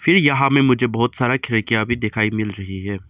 ये यहां में मुझे बहोत सारा खिड़कियां भी दिखाई मिल रही है।